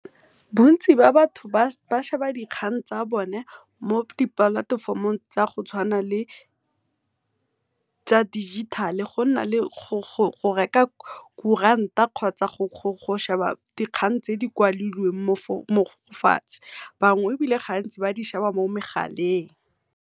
Bontsi ba batho ba sheba dikgang tsa bone mo di-platform-ong tsa go tshwana le tsa dijithale, go na le go reka kuranta kgotsa go sheba dikgang tse di kwadilweng mo fatshe bangwe gantsi ebile ba di sheba mo megaleng.